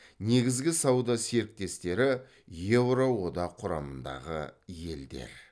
негізгі сауда серіктестері еуро одақ құрамындағы елдер